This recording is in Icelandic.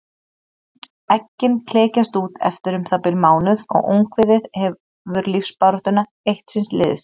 Eggin klekjast út eftir um það bil mánuð og ungviðið hefur lífsbaráttuna eitt síns liðs.